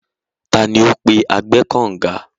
Tani ó pe agbẹ́ẹ́kànǹga?